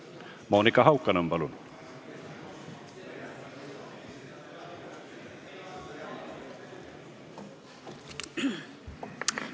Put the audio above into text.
Monika Haukanõmm, palun!